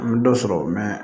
An bɛ dɔ sɔrɔ